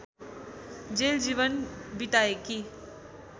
jail जीवन बिताएकी